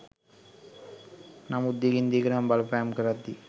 නමුත් දිගින් දිගටම බලපෑම් කරද්දී